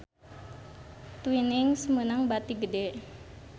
Twinings meunang bati gede